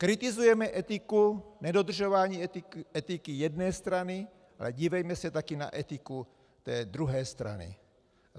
Kritizujeme etiku, nedodržování etiky jedné strany, ale dívejme se taky na etiku té druhé strany.